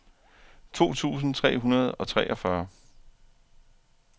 to tusind tre hundrede og treogfyrre